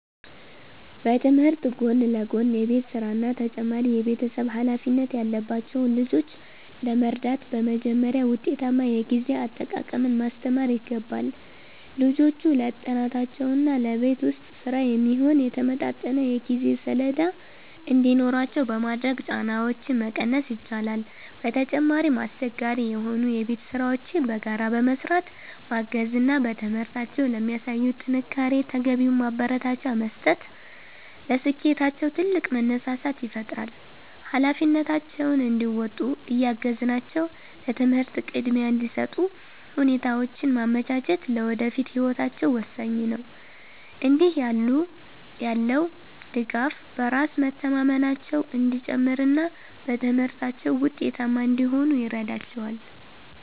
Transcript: በትምህርት ጎን ለጎን የቤት ሥራና ተጨማሪ የቤተሰብ ኃላፊነት ያለባቸውን ልጆች ለመርዳት በመጀመሪያ ውጤታማ የጊዜ አጠቃቀምን ማስተማር ይገባል። ልጆቹ ለጥናታቸውና ለቤት ውስጥ ሥራ የሚሆን የተመጣጠነ የጊዜ ሰሌዳ እንዲኖራቸው በማድረግ ጫናቸውን መቀነስ ይቻላል። በተጨማሪም፣ አስቸጋሪ የሆኑ የቤት ሥራዎችን በጋራ በመሥራት ማገዝ እና በትምህርታቸው ለሚያሳዩት ጥንካሬ ተገቢውን ማበረታቻ መስጠት ለስኬታቸው ትልቅ መነሳሳት ይፈጥራል። ኃላፊነታቸውን እንዲወጡ እያገዝናቸው ለትምህርት ቅድሚያ እንዲሰጡ ሁኔታዎችን ማመቻቸት ለወደፊት ህይወታቸው ወሳኝ ነው። እንዲህ ያለው ድጋፍ በራስ መተማመናቸው እንዲጨምርና በትምህርታቸው ውጤታማ እንዲሆኑ ይረዳቸዋል።